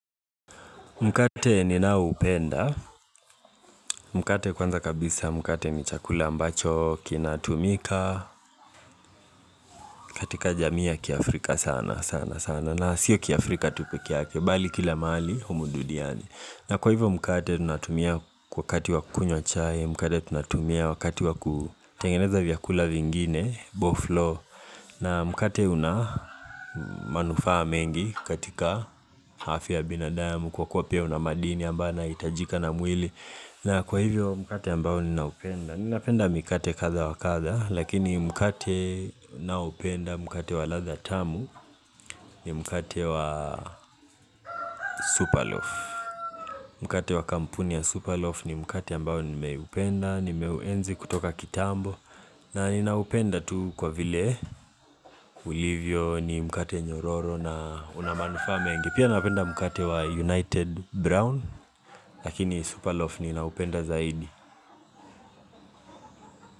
Mkate ninaoupenda, mkate kwanza kabisa, mkate ni chakula ambacho kinatumika katika jamii ya kiafrika sana sana sana, na sio kiafrika tu peke yake bali kila mahali humu duniani. Na kwa hivyo mkate tunatumia wakati wa kunywa chai, mkate tunatumia wakati wa kutengeneza vyakula vingine, boflo na mkate una manufaa mengi katika afya ya binadamu, kwa kuwa pia una madini ambao yanahitajika na mwili na kwa hivyo mkate ambao ninaupenda. Ninapenda mkate kadha wa kadha, lakini mkate ninaopenda mkate wa ladha tamu ni mkate wa super loaf Mkate wa kampuni ya Super loaf ni mkate ambao nimeupenda, nimeuenzi kutoka kitambo na ninaupenda tu kwa vile, ulivyo ni mkate nyororo na una manufaa mengi. Pia napenda mkate wa United Brown lakini Superloaf ninaupenda zaidi.